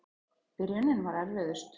Byrjunin var erfiðust.